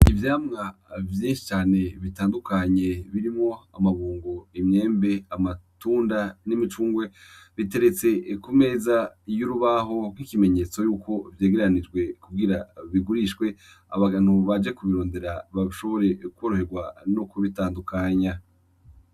Ivyamwa vyinshi cane bitandukanye birimwo amabungo, imyembe, amatunda n'imicungwe biteretse ku meza y'urubaho nk'ikimenyetso yuko vyegeranijwe kugira bigurishwe abantu baje kubirondera bashobore kworoherwa no kubitandukanya